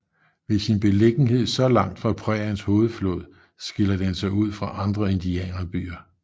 Ved sin beliggenhed så langt fra præriens hovedflod skiller den sig ud fra andre indianerbyer